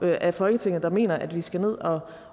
af folketinget der mener at vi skal ned